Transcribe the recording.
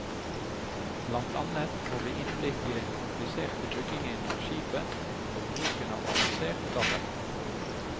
Blant annet får vi innblikk i den kompliserte byggingen av skipet, og bruken av avansert datateknologi.